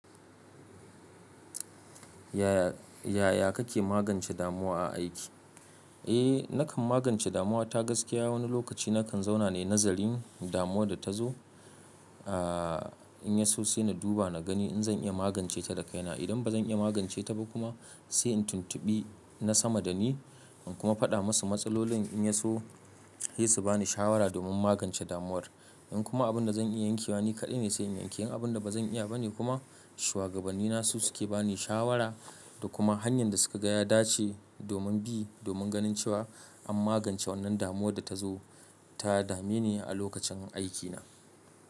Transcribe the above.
Yaya kake magance damuwa a aiki? Eh, nakan magance damuwa ta gaskiya. Wani lokaci nakan zauna ne, nazarin damuwar da ta zo. In ya so sai na duba na gani in zan iya magance ta da kaina. Idan ba zan iya magance ta ba kuma, sai in tuntubi na sama da ni in kuma faɗa musu matsalolin in ya so sai su bani shawara domin magance damuwar. In kuma abin da zan iya yankewa ni kaɗai ne, sai in yanke. In abin da ba zan iya ba ne kuma, shugabanni na su suke bani shawara da kuma hanyar da suka gaya dace domin bi domin ganin cewa an magance wannan damuwar da ta zo ta dame ni a lokacin aikina.